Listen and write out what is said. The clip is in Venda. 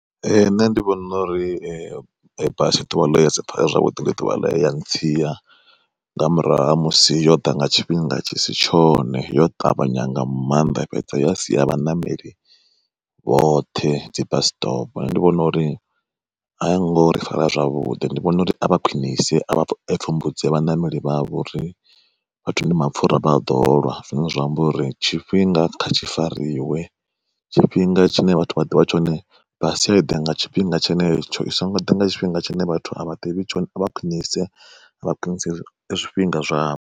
Ee nṋe ndi vhona uri ndi ḓuvha ḽe ya ntsia, nga murahu ha musi yo ḓa nga tshifhinga tshi si tshone yo ṱavhanya nga maanḓa ya fhedza ya sia vhaṋameli vhoṱhe dzi bus stop. Nṋe ndi vhona uri ayo ngori fara zwavhuḓi ndi vhona uri a vha khwiṋise a vha pfumbudzea vhaṋameli vhavho ngauri vhathu ndi mapfura vha a ḓolwa zwine zwa amba uri tshifhinga kha tshi fariwe. Tshifhinga tshine vhathu vha ḓivha tshone basi kha iḓe nga tshifhinga tshenetsho i songo ḓa nga tshifhinga tshine vhathu a vha ḓivhi tshone a vha khwiṋise vha khwiṋise zwifhinga zwavho.